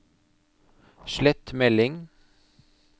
slett melding